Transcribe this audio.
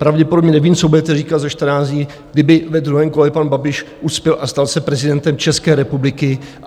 Pravděpodobně nevím, co budete říkat za 14 dní, kdyby ve druhém kole pan Babiš uspěl a stal se prezidentem České republiky.